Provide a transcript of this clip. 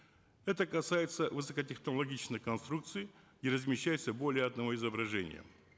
это касается высокотехнологичных конструкций где размещаются более одного изображения